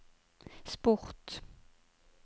sport